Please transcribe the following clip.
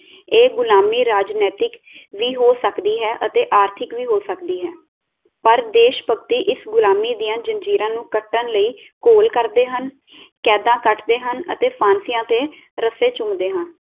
ਇਹ ਗੁਲਾਮੀ ਰਾਜਨੈਤਿਕ ਵੀ ਹੋ ਸਕਦੀ ਹੈ ਅਤੇ ਆਰਥਿਕ ਵੀ ਹੋ ਸਕਦੀ ਹੈ, ਪਰ ਦੇਸ਼ਭਕਤੀ ਇਸ ਗ਼ੁਲਾਮੀ ਦੀਆਂ ਜੰਜੀਰਾਂ ਨੂੰ ਕੱਟਣ ਲਈ ਘੋਲ ਕਰਦੇ ਹਨ, ਕੈਦਾਂ ਕਟਦੇ ਹਨ ਅਤੇ ਫਾਂਸੀਆਂ ਦੇ ਰੱਸੇ ਚੁੰਮਦੇ ਹਨ